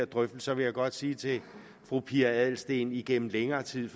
drøftelser vil jeg godt sige til fru pia adelsteen igennem længere tid